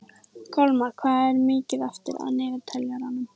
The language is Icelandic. Kolmar, hvað er mikið eftir af niðurteljaranum?